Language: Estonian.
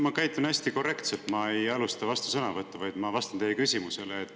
Ma käitun hästi korrektselt, ma ei alusta vastusõnavõttu, vaid ma vastan teie küsimusele.